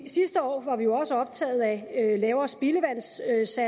sidste år var vi også optaget af lavere spildevandssatser